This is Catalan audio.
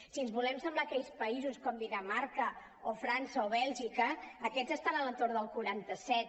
si ens volem assemblar a aquells països com dinamarca o frança o bèlgica aquells estan a l’entorn del quaranta set